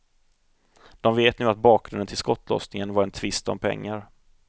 De vet nu att bakgrunden till skottlossningen var en tvist om pengar.